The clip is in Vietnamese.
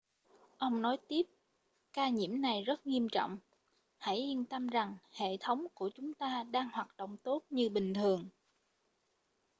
ông nói tiếp ca nhiễm này rất nghiêm trọng hãy yên tâm rằng hệ thống của chúng ta đang hoạt động tốt như bình thường